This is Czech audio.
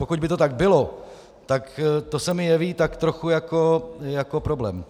Pokud by to tak bylo, tak to se mi jeví tak trochu jako problém.